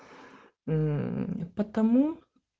мм потому